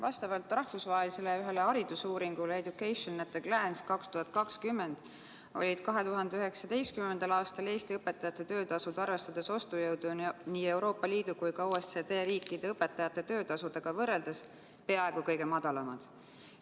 Vastavalt rahvusvahelisele haridusuuringule "Education at a Glance 2020" olid 2019. aastal Eesti õpetajate töötasud, arvestades ostujõudu, nii Euroopa Liidu kui ka OECD riikide õpetajate töötasudega võrreldes peaaegu kõige madalamad.